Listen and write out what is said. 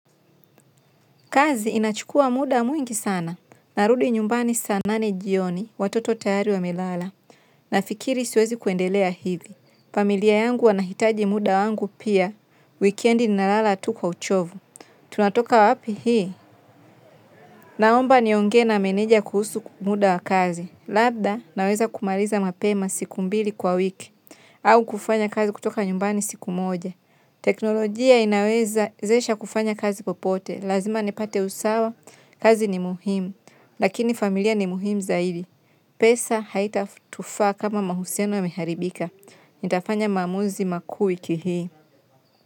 Kazi inachukua muda mwingi sana narudi nyumbani saa nane jioni watoto tayari wamelala nafikiri siwezikuendelea hivi familia yangu wanahitaji muda wangu pia wikendi ninalala tu kwa uchovu tunatoka wapi hii naomba niongee na meneja kuhusu muda wa kazi labda naweza kumaliza mapema siku mbili kwa wiki au kufanya kazi kutoka nyumbani siku moja teknolojia inawezesha kufanya kazi popote lazima nipate usawa kazi ni muhimu lakini familia ni muhimu zaidi pesa haitatufaa kama mahusiano yameharibika nitafanya maamuzi makuu wiki hii.